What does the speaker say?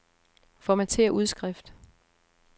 Formatér udskrift.